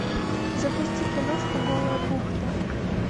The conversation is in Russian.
запусти киношку голая бухта